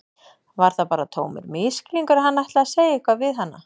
Var það bara tómur misskilningur að hann ætlaði að segja eitthvað við hana?